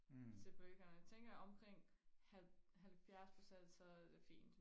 til poltikerne tænker omkring halv halvfjers procent så er det fint